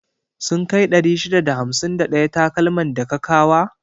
Sun kai 651 takalman da ka kawa?